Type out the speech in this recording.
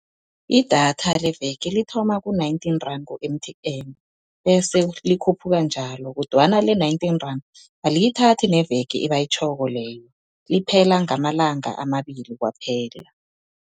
Idatha leveke lithoma ku-nineteen rand ku-M_T_N, bese likhuphuka njalo kodwana le-nineteen rand aliyithathi neveke ebayitjhoko leyo, liphela ngamalanga amabili kwaphela.